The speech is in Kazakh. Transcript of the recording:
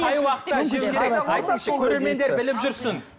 қай уақытта жеу керек айтыңызшы көрермендер біліп жүрсін